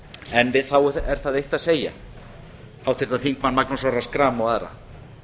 en við því er þá það eitt að segja háttvirtir þingmenn magnús orra schram og aðra